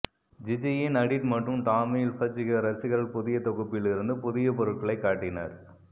ஜிஜியின் Hadid மற்றும் Tommy Hilfiger ரசிகர்கள் புதிய தொகுப்பில் இருந்து புதிய பொருட்களைக் காட்டினர்